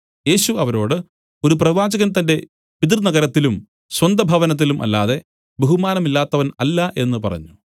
യേശു അവരോട് ഒരു പ്രവാചകൻ തന്റെ പിതൃനഗരത്തിലും സ്വന്തഭവനത്തിലും അല്ലാതെ ബഹുമാനമില്ലാത്തവൻ അല്ല എന്നു പറഞ്ഞു